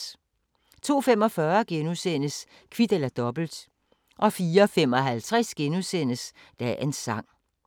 02:45: Kvit eller Dobbelt * 04:55: Dagens sang *